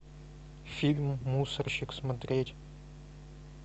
фильм мусорщик смотреть